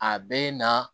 A bɛ na